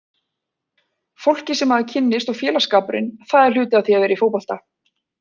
Fólkið sem maður kynnist og félagsskapurinn, það er hluti af því að vera í fótbolta.